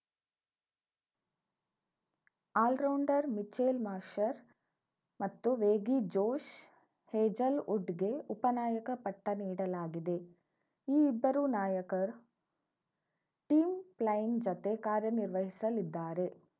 allrounder Mitchell Marsh ಮತ್ತು ವೇಗಿ Josh ಹೇಜಲ್‌ವುಡ್‌ಗೆ ಉಪನಾಯಕ ಪಟ್ಟನೀಡಲಾಗಿದೆ ಈ ಇಬ್ಬರೂ ನಾಯಕ ಟಿಮ್‌ ಪ್ಲೈನ್‌ ಜತೆ ಕಾರ್ಯನಿರ್ವಹಿಸಲಿದ್ದಾರೆ